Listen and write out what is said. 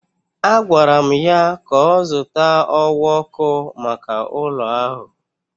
Agwara m ya ka ọ zụta ọwa ọkụ maka ụlọ ahụ.